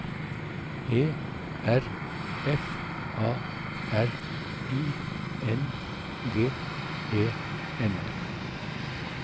E R F A R I N G E N